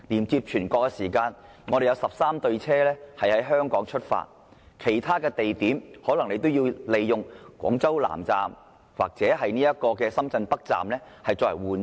要乘高鐵前往全國，有13對列車會在香港出發，但從其他地點出發可能須在廣州南站或深圳北站轉車。